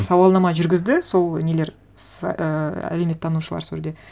сауалнама жүргізді сол нелер ііі әлеуметтанушылар сол жерде